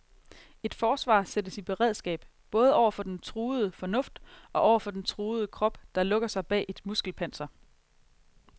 Et forsvar sættes i beredskab, både over for den truede fornuft, og over for den truede krop, der lukker sig bag et muskelpanser.